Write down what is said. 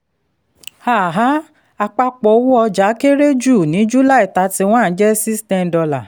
um àpapọ̀ owó ọjà kéré jù ní july thirty-one jẹ́ six ten dollar